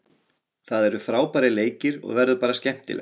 Það eru frábærir leikir og verður bara skemmtilegt.